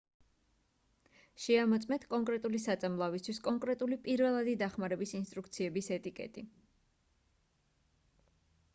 შეამოწმეთ კონკრეტული საწამლავისთვის კონკრეტული პირველადი დახმარების ინსტრუქციების ეტიკეტი